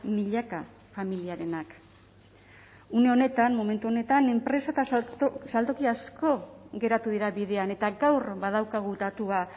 milaka familiarenak une honetan momentu honetan enpresa eta saltoki asko geratu dira bidean eta gaur badaukagu datua